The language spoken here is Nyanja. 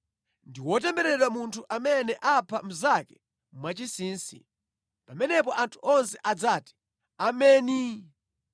“Ndi wotembereredwa munthu amene apha mnzake mwachinsinsi.” Pamenepo anthu onse adzati, “Ameni!”